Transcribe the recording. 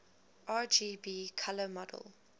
rgb color model